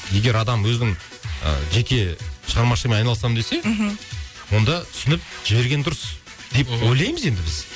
егер адам өзінің ы жеке шығармашылығымен айналысамын десе мхм онда түсініп жіберген дұрыс деп ойлаймыз енді біз